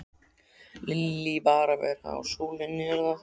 Lillý: Bara að vera í sólinni þar eða?